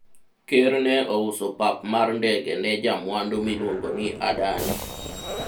Ker ne ouso pap mar ndege ne jamwandu miluongo ni Adani